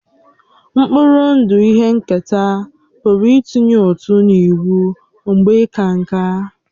Mkpụrụ ndụ ihe nketa pụrụ ịtụnye ụtụ n'ịnwụ mgbe ịka nká